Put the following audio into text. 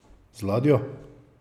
Z ladjo!